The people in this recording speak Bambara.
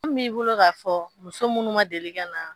Mun b'i bolo k'a fɔ muso munnu ma deli ka na.